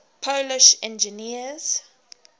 polish engineers